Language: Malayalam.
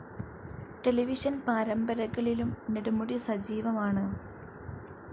ടെലിവിഷൻ പാരമ്പരകളിലും നെടുമുടി സജീവമാണ്.